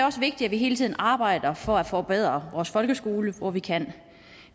også vigtigt at vi hele tiden arbejder for at forbedre vores folkeskole hvor vi kan